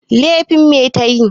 Lefin me ta yi?